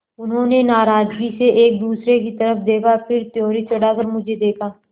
उन्होंने नाराज़गी से एक दूसरे की तरफ़ देखा फिर त्योरी चढ़ाकर मुझे देखा